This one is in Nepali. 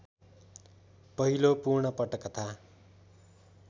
पहिलो पूर्ण पटकथा